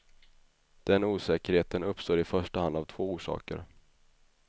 Den osäkerheten uppstår i första hand av två orsaker.